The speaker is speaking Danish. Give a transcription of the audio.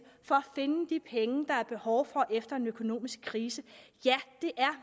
for at finde de penge der er behov for efter en økonomisk krise er